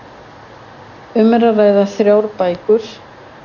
Um er að ræða þrjár bækur